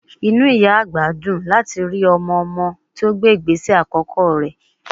Inú ìyá àgbà dùn láti rí ọmọ-ọmọ tí ó gbé ìgbésẹ̀ àkọ́kọ́ rẹ̀